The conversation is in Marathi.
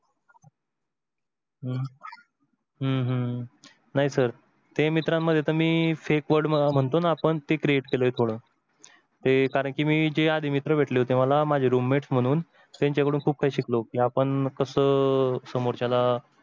हम्म हम्म नाही sir ते मित्रांमध्ये ना मी fake word म्हणतो ना आपण ते create केल थोड, ते कारण की मी आधी जे मित्र भेटले होते मला room mate त्यांच्या कडून खूप काही शिकलो की आपण कस समोरच्याला